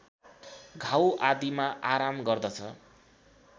घाउ आदिमा आराम गर्दछ